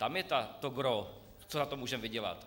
Tam je to gros, co na tom můžeme vydělat.